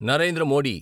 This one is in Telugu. నరేంద్ర మోడి